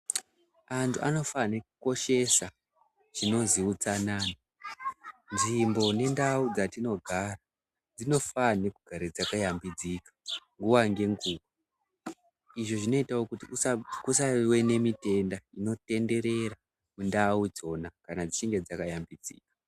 Antu anofanhe kukoshesa chinozi utsanana. Nzvimbo nendau dzatinogara dzinofanhe kugare dzakayambudzika nguva nenguva. Izvi zvinoitawo kuti kusave nemitenda inotenderera mundau dzona kana dzechinge dzakayambudzika.